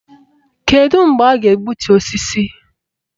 Kedụ mgbe a ga-egbutu osisi?